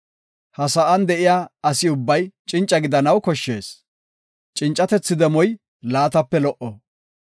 Ha sa7an de7iya asi ubbay cinca gidanaw koshshees; cincatethi demoy laatape lo77o.